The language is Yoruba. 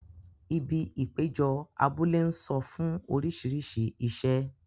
Ibi ìpéjọ abúlé ń sọ fún orísìírísìí iṣẹ́.